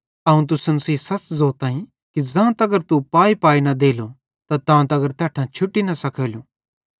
अवं तुसन सेइं सच़ ज़ोताईं कि ज़ां तगर तू पाईपाई न देलो त तां तगर तैट्ठां छुट्टी न सकेलो